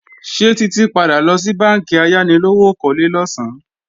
Ṣé Títí padà lọ sí bánkì ayánilówókọ́lé losan?